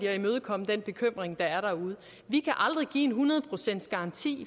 at imødekomme den bekymring der er derude vi kan aldrig give en hundrede procents garanti